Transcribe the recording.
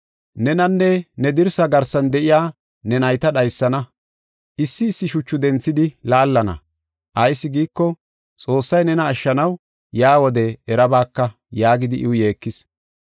Nenanne ne dirsaa garsan de7iya ne nayta dhaysana. Issi issi shuchu denthidi laallana, ayis giiko Xoossay nena ashshanaw yaa wodiya erabaaka” yaagidi iw yeekis.